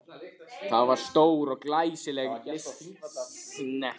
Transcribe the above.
Það var stór og glæsileg lystisnekkja.